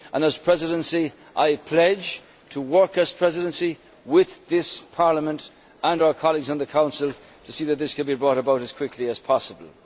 As holder of the Presidency, I pledge to work as a Presidency with this Parliament and our colleagues in the Council to see that this can be brought about as quickly as possible.